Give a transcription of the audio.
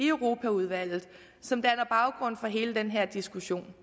europaudvalget som danner baggrund for hele den her diskussion